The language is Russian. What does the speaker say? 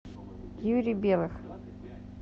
юрий белых